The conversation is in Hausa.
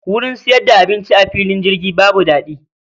Wurin siyar da abinci a fillin jirgi babu dadi